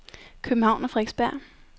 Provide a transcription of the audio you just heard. København og Frederiksberg